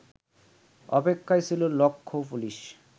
অপেক্ষায় ছিল লক্ষৌ পুলিস